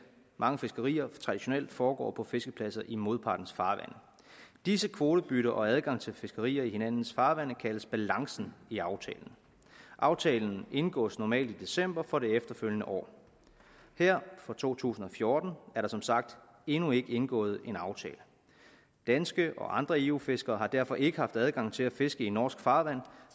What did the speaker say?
mange fiskerier traditionelt foregår på fiskepladser i modpartens farvande disse kvotebytter og adgange til fiskerier i hinandens farvande kaldes balancen i aftalen aftalen indgås normalt i december for det efterfølgende år her for to tusind og fjorten er der som sagt endnu ikke indgået en aftale danske og andre eu fiskere har derfor ikke haft adgang til at fiske i norsk farvand